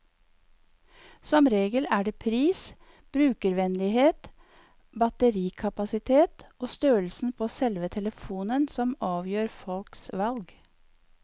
Som regel er det pris, brukervennlighet, batterikapasitet og størrelsen på selve telefonen som avgjør folks valg.